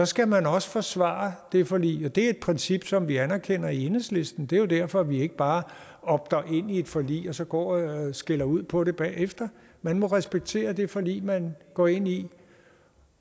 skal man også forsvare det forlig det er et princip som vi anerkender i enhedslisten og det er jo derfor vi ikke bare opter ind i et forlig og så går og skælder ud på det bagefter man må respektere det forlig man går ind i